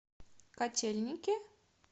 котельники